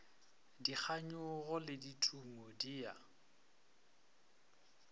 dikganyogo le ditumo di a